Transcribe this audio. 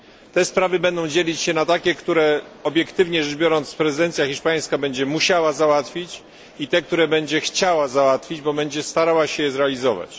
Te sprawy będą dzielić się na takie, które obiektywnie rzecz biorąc prezydencja hiszpańska będzie musiała załatwić, i te, które będzie chciała załatwić, bo będzie starała się je zrealizować.